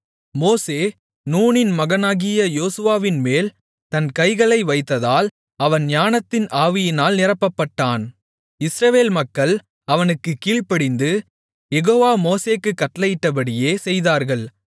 மோசே நூனின் மகனாகிய யோசுவாவின்மேல் தன் கைகளை வைத்ததால் அவன் ஞானத்தின் ஆவியினால் நிரப்பப்பட்டான் இஸ்ரவேல் மக்கள் அவனுக்குக் கீழ்ப்படிந்து யெகோவா மோசேக்குக் கட்டளையிட்டபடியே செய்தார்கள்